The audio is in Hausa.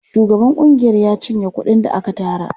Shugaban ƙungiyar ya cinye kuɗin da aka tara.